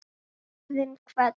Lífið hleypur ekki frá okkur.